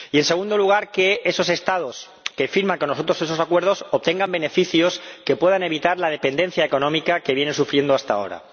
Y en segundo lugar, que esos Estados que firman con nosotros esos acuerdos obtengan beneficios que puedan evitar la dependencia económica que vienen sufriendo hasta ahora.